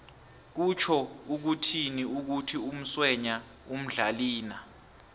kutjho ukuthini ukuthi umswenya umdlalina